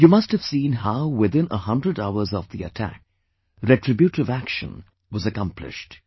You must have seen how within a hundred hours of the attack, retributive action was accomplished